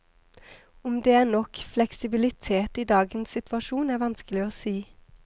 Om det er nok fleksibilitet i dagens situasjon, er vanskelig å si.